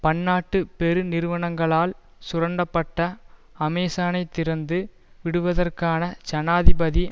பன்னாட்டு பெருநிறுவனங்களால் சுரண்டப்பட அமேசனைத் திறந்து விடுவதற்கான ஜனாதிபதி